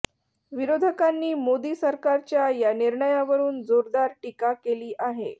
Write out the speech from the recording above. विरोधकांनी मोदी सरकारच्या या निर्णयावरून जोरदार टीका केली आहे